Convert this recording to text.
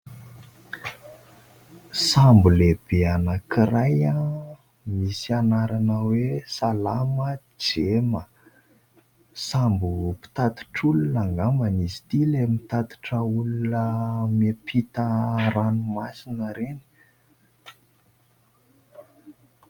Sambo lehibe anakiray misy anarana hoe : "Salàma Djema" sambo mpitatitr'olona ngamba izy ity ilay mitatitra olona miampita ranomasina ireny.